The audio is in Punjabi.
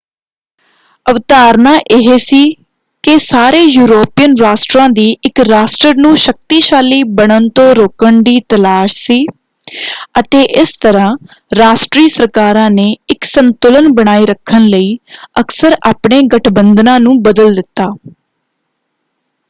ਅਵਧਾਰਨਾ ਇਹ ਸੀ ਕਿ ਸਾਰੇ ਯੂਰੋਪੀਅਨ ਰਾਸ਼ਟਰਾਂ ਦੀ ਇਕ ਰਾਸ਼ਟਰ ਨੂੰ ਸ਼ਕਤੀਸ਼ਾਲੀ ਬਣਨ ਤੋਂ ਰੋਕਣ ਦੀ ਤਲਾਸ਼ ਸੀ ਅਤੇ ਇਸ ਤਰ੍ਹਾਂ ਰਾਸ਼ਟਰੀ ਸਰਕਾਰਾਂ ਨੇ ਇਕ ਸੰਤੁਲਨ ਬਣਾਈ ਰੱਖਣ ਲਈ ਅਕਸਰ ਆਪਣੇ ਗਠਬੰਧਨਾਂ ਨੂੰ ਬਦਲ ਦਿੱਤਾ।